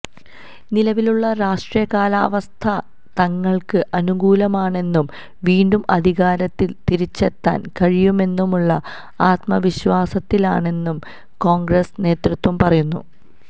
നിലവിലുള്ള രാഷ്ട്രീയ കാലാവസ്ഥ തങ്ങള്ക്ക് അനുകൂലമാണെന്നും വീണ്ടും അധികാരത്തില് തിരിച്ചെത്താന് കഴിയുമെന്നുമുള്ള ആത്മവിശ്വാസത്തിലാണെന്നും കോണ്ഗ്രസ് നേതൃത്വം പറയുന്നു